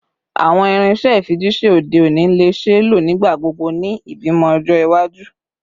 Awọn irinṣẹ ifijiṣẹ ode oni le ṣee lo nigbagbogbo ni ibimọ ni ọjọ iwaju?